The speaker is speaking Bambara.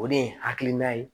O de ye hakilina ye